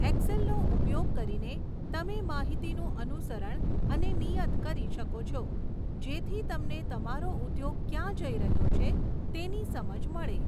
એક્સેલનો ઉપયોગ કરીને, તમે માહિતીનું અનુસરણ અને નિયત કરી શકો છો જેથી તમને તમારો ઉદ્યોગ ક્યાં જઈ રહ્યો છે તેની સમજ મળે.